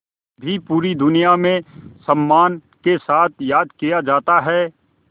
भी पूरी दुनिया में सम्मान के साथ याद किया जाता है